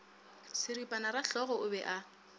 seripana rahlogo o be a